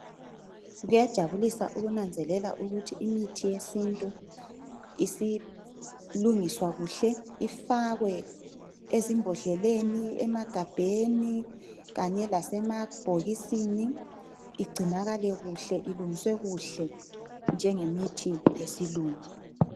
Kuyajabulisa ukunanzelela ukuthi imithi yesintu isilungiswa kuhle ifakwe ezimbodleleni, emagabheni kanye lasema bhokisini, igcinakale kuhle ilungiswe kuhle njengemithi yesilungu